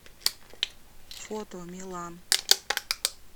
фото милан